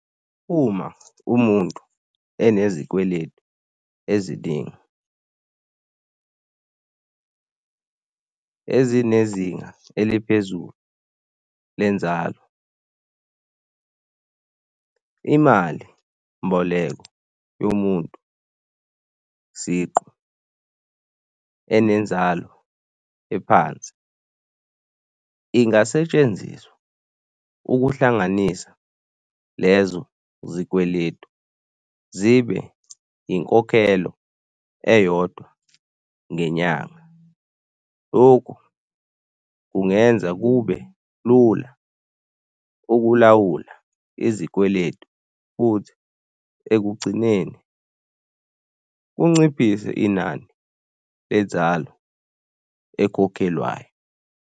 Uma umuntu enezikweletu eziningi ezinezinga eliphezulu lenzalo, imali mboleko yomuntu siqu enenzalo ephansi ingasetshenziswa ukuhlanganisa lezo zikweletu zibe inkokhelo eyodwa ngenyanga. Lokhu kungenza kube lula ukulawula izikweletu futhi ekugcineni kunciphise inani lenzalo ekhokhelwayo.